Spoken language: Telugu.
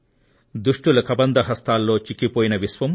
దుష్టుల కబంధ హస్తాల్లో చిక్కిపోయిన విశ్వం